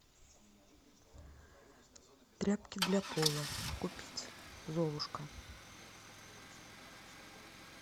тряпки для пола купить золушка